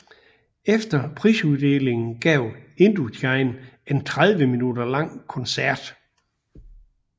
Efter prisuddelingen gav Indochine en 30 min lang koncert